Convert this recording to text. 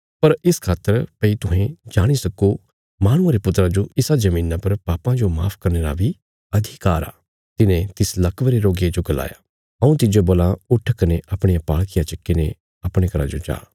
पर इस खातर भई तुहें जाणी सक्को माहणुये रे पुत्रा जो इसा धरतिया पर पापां जो माफ करने रा बी अधिकार आ तिने तिस लकवे रे रोगिये जो गलाया हऊँ तिज्जो बोलां उट्ठ कने अपणिया पाल़किया चक्कीने अपणे घरा जो जा